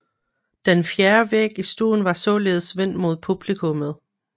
Den fjerde væg i stuen var således vendt mod publikummet